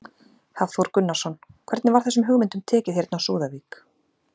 Hafþór Gunnarsson: Hvernig var þessum hugmyndum tekið hérna á Súðavík?